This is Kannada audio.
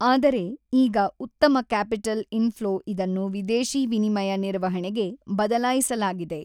ಆದರೆ ಈಗ ಉತ್ತಮ ಕ್ಯಾಪಿಟಲ್ ಇನ್ ಫ್ಲೋ ಇದನ್ನು ವಿದೇಶಿ ವಿನಿಮಯ ನಿರ್ವಹಣೆಗೆ ಬದಲಾಯಿಸಲಾಗಿದೆ.